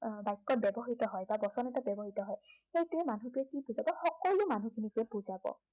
বাক্য়ত ব্য়ৱহৃত হয় বা বচন এটাত ব্য়ৱহৃত হয়। সেইটোত মানুহটোৱে কি বুজাব, তাত সকলো মানুহখিনিকে বুজাব